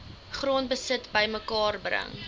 grondbesit bymekaar bring